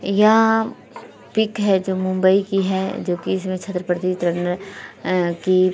यह पिक है जो मुंबई की है जो कि इसमें की --